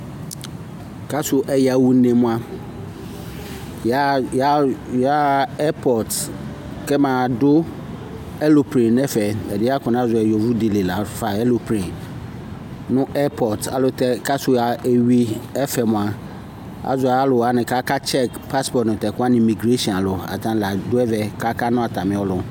Kasu ɛyaɣa une mua, yaɣa ɛpɔtɩ, kɛmaɣadu ɛloplenɩ nʋ ɛfɛ (ɛdɩɛ akɔnazɔ yɩ nʋ yovodi yɛ lafa "ɛloplenɩ"), nʋ ɛpɔtɩ Kasu eyui ɛfɛ mua, azɔ alu wani kʋ akatsɛkɩ pasɩpɔtɩ nʋ tɛkʋwani nʋ migresshɩɔnɩ alu Atani ladu ɛvɛ, kʋ akana atamiɔlʋ